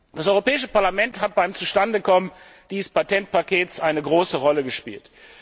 Das Europäische Parlament hat beim Zustandekommen dieses Patentpakets eine große Rolle gespielt.